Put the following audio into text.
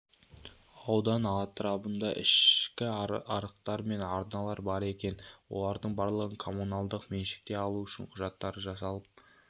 аудан атырабында ішкі арықтар мен арналар бар екен олардың барлығын коммуналдық меншікке алу үшін құжаттары жасалып